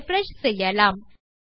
refresh செய்யலாம்